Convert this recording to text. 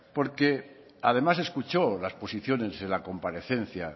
porque además escuchó las posiciones en la comparecencia